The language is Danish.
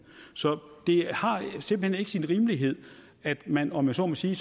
så det har simpelt hen ikke sin rimelighed at man om jeg så må sige